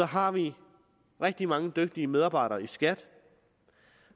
har vi rigtig mange dygtige medarbejdere i skat